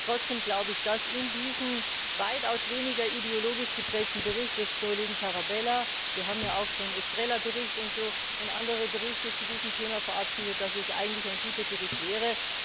Aber trotzdem glaube ich, dass dieser weitaus weniger ideologisch geprägte Bericht des Kollegen Tarabella wir haben ja auch schon den Bericht Estrela und andere Berichte zu diesem Thema verabschiedet eigentlich ein guter Bericht wäre.